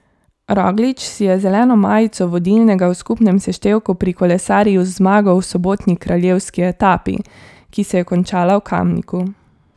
Roglič si je zeleno majico vodilnega v skupnem seštevku prikolesaril z zmago v sobotni kraljevski etapi, ki se je končala v Kamniku.